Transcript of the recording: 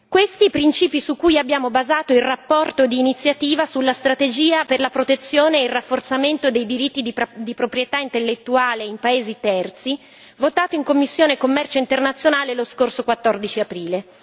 Questi i principi su cui abbiamo basato le relazione di iniziativa sulla strategia per la protezione e il rafforzamento dei diritti di proprietà intellettuale in paesi terzi, votata in Commissione commercio internazionale lo scorso 14 aprile.